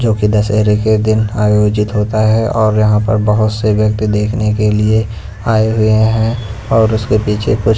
जो कि दशहरे के दिन आयोजित होता है और यहां पर बहुत से व्यक्ति देखने के लिए आ ए हुए हैं और उसके पीछे कुछ--